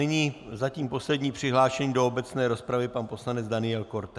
Nyní zatím poslední přihlášený do obecné rozpravy pan poslanec Daniel Korte.